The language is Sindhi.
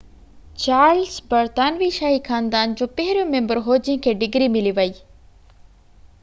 چارلس برطانوي شاهي خاندان جو پهريون ميمبر هو جنهن کي ڊگري ملي وئي